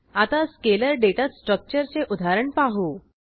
आता scalar data स्ट्रक्चरचे उदाहरण पाहू